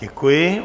Děkuji.